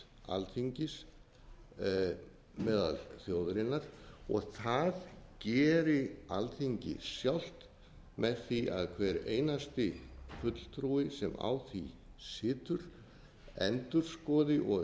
alþingis meðal þjóðarinnar og það geri alþingi sjálft með því að hver einasti fulltrúi sem á því situr endurskoði og